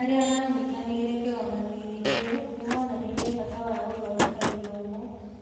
Arĩa maanyitanĩire kĩgomano-inĩ kĩu nĩ moonanirie bata wa gũthondeka gĩthomo